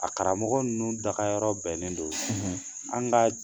A karamɔgɔ ninnu dagayɔrɔ bɛnnen don an ka